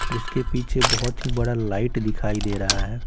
उसके पीछे बहुत ही बड़ा लाइट दिखाई दे रहा है।